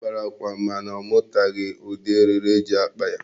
Ọ kpara akwa mana ọ mụtaghi ụdị eriri eji akpa ya.